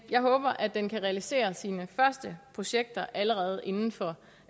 jeg håber at den kan realisere sine første projekter allerede inden for